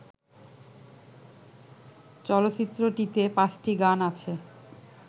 চলচ্চিত্রটিতে পাঁচটি গান আছে